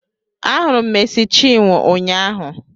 Ahụrụ m Meci Chinwo ụnyaahụ